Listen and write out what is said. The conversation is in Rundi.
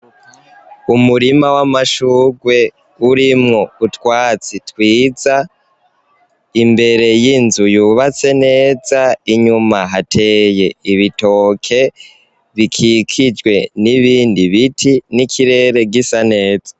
Umurima w'amashurwe urimwo utwatsi twiza, imbere y'inzu yubatse neza. Inyuma hateye ibitoke bikikijwe n'ibindi biti n'ikirere gisa neza.